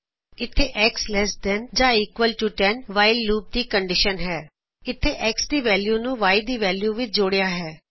ਇੱਥੇ X less than ਜਾਂ equal to 10 while loop ਦੀ ਕੰਡੀਸ਼ਨ ਹੈ ਇਥੇ X ਦੀ ਵੈਲਯੂ ਨੂੰ Y ਦੀ ਵੈਲਯੂ ਵਿਚ ਜੋੜਿਆ ਹੈ